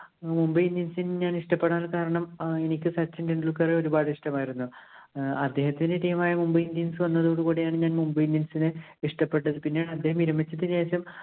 Mumbai Indians ഇനെ ഞാൻ ഇഷ്ടപ്പെടാന്‍ കാരണം എനിക്ക് സച്ചിന്‍ ടെണ്ടുല്‍ക്കറെ ഒരുപാട് ഇഷ്ടമായിരുന്നു. ഏർ അദ്ദേഹത്തിന്‍റെ team ആയ Mumbai Indians വന്നതോട് കൂടിയാണ് ഞാന്‍ Mumbai Indians ഇനെ ഇഷ്ടപ്പെട്ടത്. പിന്നെ അദ്ദേഹം വിരമിച്ചതിനു ശേഷം